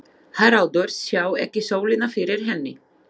Haraldur sá ekki sólina fyrir henni.